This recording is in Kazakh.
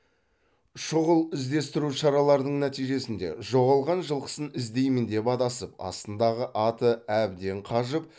шұғыл іздестіру шараларының нәтижесінде жоғалған жылқысын іздеймін деп адасып астындағы аты әбден қажып